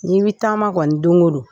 N'i bɛ taama kɔni don o don